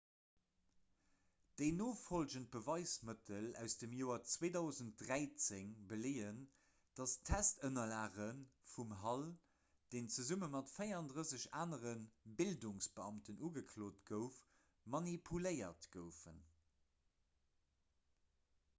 déi nofollgend beweismëttel aus dem joer 2013 beleeën datt d'testënnerlage vum hall deen zesumme mat 34 anere bildungsbeamten ugeklot gouf manipuléiert goufen